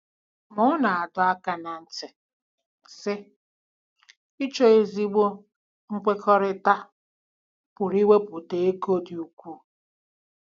Ma ọ na-adọ aka ná ntị, sị: “Ịchọ ezigbo nkwekọrịta pụrụ iwepụta oge dị ukwuu.”